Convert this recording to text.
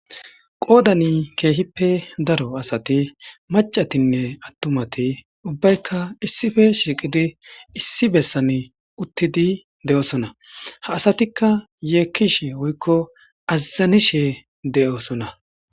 Qodan kehipe daro asati macati atumati ubayka issipe shiqidi issi besan utidi de'osona hasatika yekishe woyiko azanishe de'osona